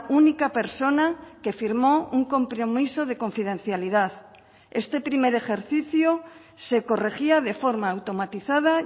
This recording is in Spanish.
única persona que firmó un compromiso de confidencialidad este primer ejercicio se corregía de forma automatizada